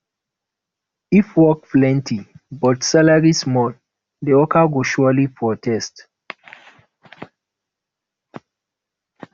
if work plenty but salary small de worker go surely protest